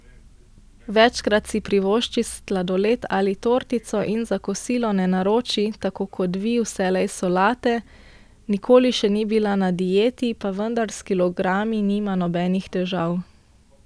Večkrat si privošči sladoled ali tortico in za kosilo ne naroči, tako kot vi, vselej solate, nikoli še ni bila na dieti, pa vendar s kilogrami nima nobenih težav.